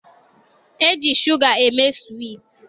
E ji shuga eme suwiiti.